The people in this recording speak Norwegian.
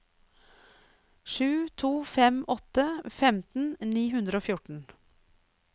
sju to fem åtte femten ni hundre og fjorten